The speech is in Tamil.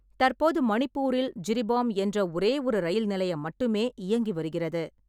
தற்போது மணிப்பூரில் ஜிரிபாம் என்ற ஒரேயொரு ரயில் நிலையம் மட்டுமே இயங்கி வருகிறது.